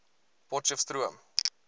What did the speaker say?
potcheftsroom